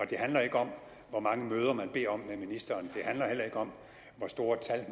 det handler ikke om hvor mange møder med ministeren handler heller ikke om hvor store tal